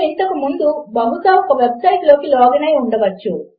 కానీ ఇక్కడ ఓర్ అనేదానికి నిజముగా అర్ధము లేదు మరియు ఏమి జరుగుతుందో మీరు ఉహించగలరు